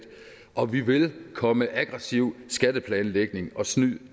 og vi vil komme aggressiv skatteplanlægning og snyd